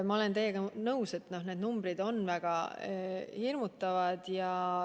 Ma olen teiega nõus, et numbrid on väga hirmutavad.